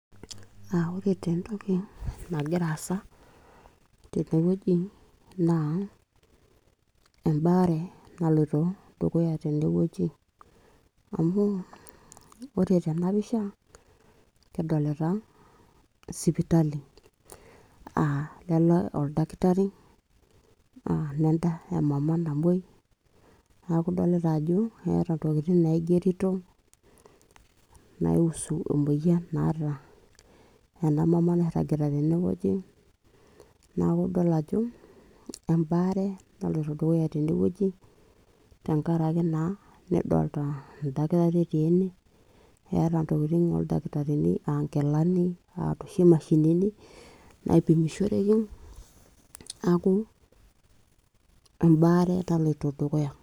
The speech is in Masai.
Ore te entoki nagira aasa tene wueji naa embaare naloito dukuya tene wueji. Amu ore tena pisha kidolita sipitali a lele oldakitari naa nenda emama namwoi, niaku idolita ajo keeta ntokitin naigerito naihusu emoyian naata ena mama nairagita tene wueji. niaku idol ajo embaare naloito dukuya tene wueji tenkaraki naa nedolta endakitari etii ene ,eeta ntokitin oldakitarini aa nkilani, noshi mashinini naipimishoreki.